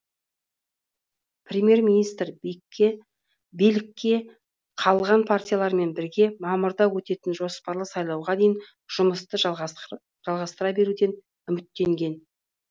премьер министр билікте қалған партиялармен бірге мамырда өтетін жоспарлы сайлауға дейін жұмысты жалғастыра беруден үміттенген